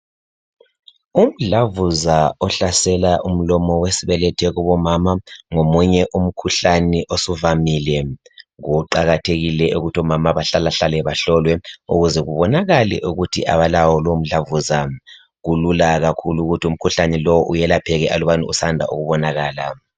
Umdlavuza ohlasela umlomo wesibetho kubomama ngomunye umkhuhlane osuvamile. Kuqakathekile ukuthi omama behlalahlale bahlolwe ukuze kubonakale ukuthi abalawo lomdlavuza. Kulula kakhulu ukuthi umkhuhlane lo welapheke alubana usanda ukubonakala.